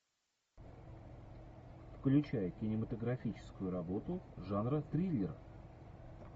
включай кинематографическую работу жанра триллер